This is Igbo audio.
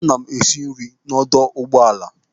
Ana m esi nri n'ọdọ ụgbọala.